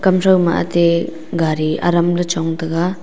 gari aram ley chong taiga.